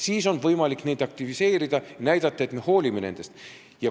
Siis on võimalik neid aktiviseerida, näidata, et me hoolime nendest.